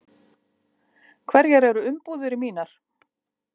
Hverjar eru umbúðir mínar?